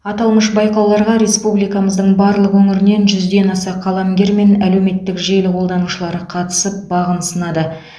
аталмыш байқауларға республикамыздың барлық өңірінен жүзден аса қаламгер мен әлеуметтік желі қолданушылары қатысып бағын сынады